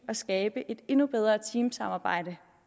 at skabe et endnu bedre teamsamarbejde